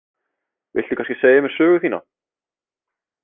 Viltu kannski segja mér sögu þína?